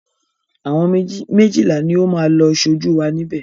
Àwọn méjìlá ni ó máa lọ ṣojú wa níbè.